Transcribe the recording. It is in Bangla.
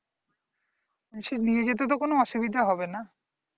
সে নিয়ে যেতে তো কোন অসুবিধা হবে না।